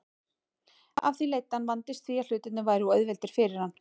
Af því leiddi að hann vandist því að hlutirnir væru of auðveldir fyrir hann.